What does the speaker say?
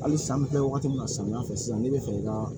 Hali san bɛ kɛ wagati min na samiyɛ fɛ sisan n'i bɛ fɛ i ka